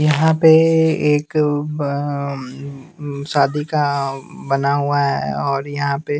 यहां पे एक अ शादी का बना हुआ है और यहां पे--